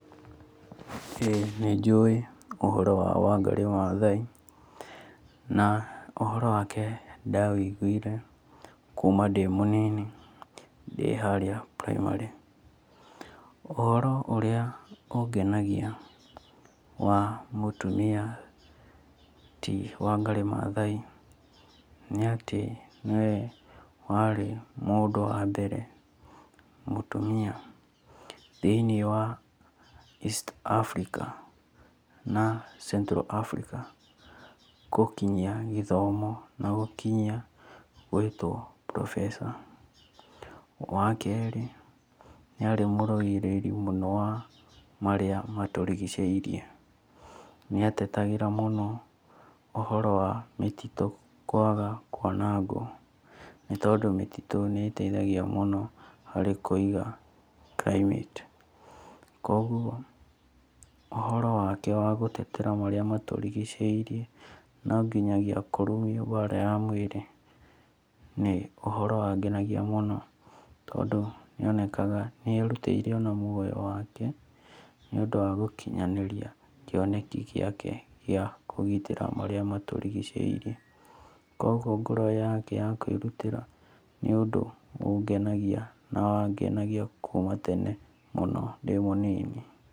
Ĩĩ nĩ njũĩ ũhoro wa Wangarĩ Mathai na ũhoro wake nda wũiguire kuma ndĩ mũnini ndĩ harĩa primary. Ũhoro ũrĩa ungenagia wa mũtumia ti Wangarĩ Mathai nĩ atĩ nĩwe warĩ mũndũ wa mbere mũtumia thĩiniĩ wa East Africa na Central Africa gũkinyia gĩthomo na gũkinyia gwĩtwo professor. Wakerĩ nĩ arĩ mũrũĩrĩri mũno wa marĩa matũrigicĩirie. Nĩ atetagĩra mũno ũhoro wa mĩtitũ kwaga kwanagwo nĩ tondũ mĩtitũ nĩ ĩteithagia mũno harĩ kũiga climate. Kwoguo ũhoro wake wagũtetera marĩa matũrigicĩirie na nginyagia kũrumio mbara ya mwĩrĩ nĩ ũhoro wa ngenagia mũno tondũ nĩ onekaga nĩ erutĩre ona muoyo wake nĩũndũ wa gũkinyanĩria kĩoneki gĩake gĩa kũgitĩra marĩa maturigicĩirie. Kwoguo ngoro yake ya kwĩrutĩra nĩ ũndũ ũngenagia na wangenagia kuma tene mũno ndĩ mũnini.